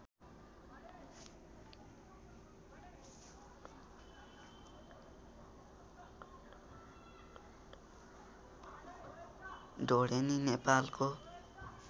ढोडेनी नेपालको